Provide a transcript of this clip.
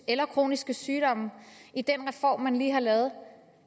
eller kroniske sygdomme i den reform man lige har lavet